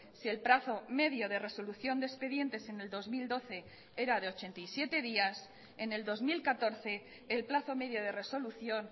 si el plazo medio de resolución de expedientes en el dos mil doce era de ochenta y siete días en el dos mil catorce el plazo medio de resolución